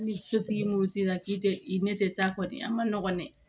Ni sotigi moti la k'i tɛ i tɛ taa kɔni an ma nɔgɔn dɛ